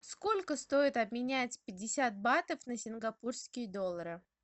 сколько стоит обменять пятьдесят батов на сингапурские доллары